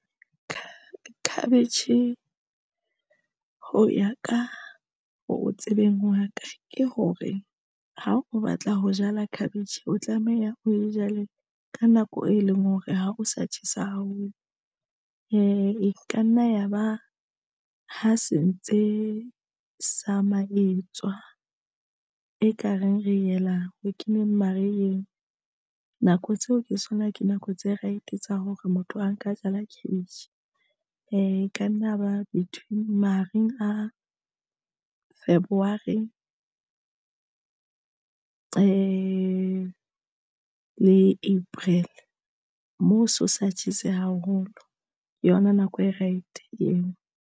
Cabbage ho ya ka o tsebeng wa ka ke hore ha o batla ho jala cabbage o tlameha o jale ka nako, e leng hore ha o sa tjhesa haholo, o ka nna yaba ha se ntse sa maeto tswa ekareng re ela o keneng mariheng. Nako tseo, ke sona ka nako tse right tsa hore motho a nka jala cabbage e ka nna ba mahareng a February le April moo seo sa tjhese haholo ke yona nako e right eo.